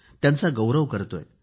त्यांचा गौरव करीत आहे